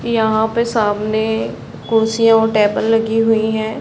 यहाँ पे सामने कुर्सी और टेबल लगी हुई है।